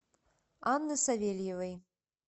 анны савельевой